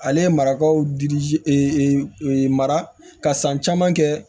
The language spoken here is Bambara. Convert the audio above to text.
Ale ye marakaw di e mara ka san caman kɛ